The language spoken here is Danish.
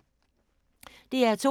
DR2